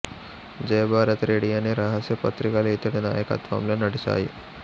జయభారత్ రెఢీ అనే రహస్య పత్రికలు ఇతడి నాయకత్వంలో నడిచాయి